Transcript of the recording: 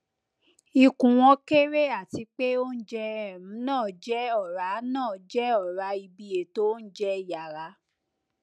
ikun won kere atipe ounje um na je ora na je ora ibi eto ounjẹ yara